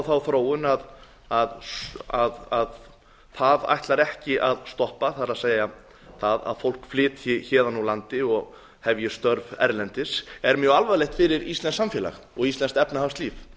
þá þróun að það ætlar ekki að stoppa það er það að fólk flytji héðan úr landi og hefji störf erlendis er mjög alvarlegt fyrir íslenskt samfélag og íslenskt efnahagslíf